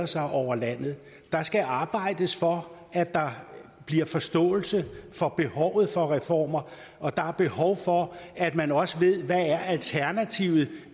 sig over landet der skal arbejdes for at der bliver forståelse for behovet for reformer og der er behov for at man også ved hvad alternativet er